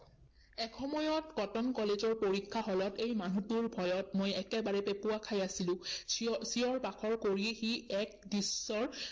এসময়ত কটন কলেজৰ পৰীক্ষা হলত এই মানুহটোৰ ভয়ত মই একেবাৰে পেপুৱা খাই আছিলো। চিঞৰ, চিঞৰ -বাখৰ কৰি সি এক দৃশ্যৰ